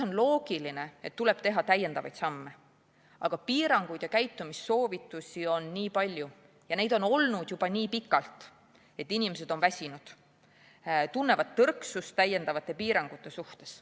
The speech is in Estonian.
On loogiline, et tuleb teha täiendavaid samme, aga piiranguid ja käitumissoovitusi on nii palju ja need on olnud juba nii pikalt, et inimesed on väsinud, tunnevad tõrksust täiendavate piirangute suhtes.